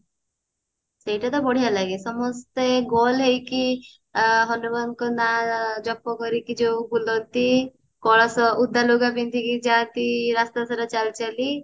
ସେଇଟା ତ ବଢିଆ ଲାଗେ ସମସ୍ତେ ଗୋଲ ହେଇକି ଆ ହନୁମାନ ଙ୍କ ନା ଜପ କରିକି ଯୋଉ ବୁଲନ୍ତି କଳସ ଓଦା ଲୁଗା ପିନ୍ଧିକି ଯାନ୍ତି ରାସ୍ତା ସାରା ଚାଲି ଚାଲି